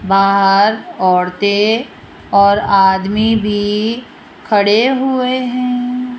बाहर औरतें और आदमी भी खड़े हुए हैं।